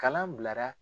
Kalan bilara